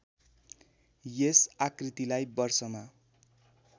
यस आकृतिलाई वर्षमा